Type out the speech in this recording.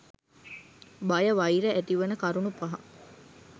බය වෛර ඇතිවන කරුණු පහ